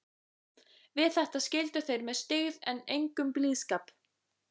Við þetta skildu þeir með styggð en engum blíðskap.